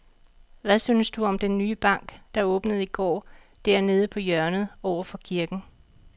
Hvad synes du om den nye bank, der åbnede i går dernede på hjørnet over for kirken?